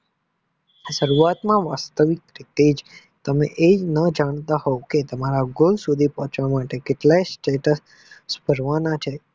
શરૂઆત માં વાસ્તવિક રીતેજ તમે આ ના જાણતા હોય કે goal સુધી પહોંચવા માટે કેટલા step ભરવાના છે?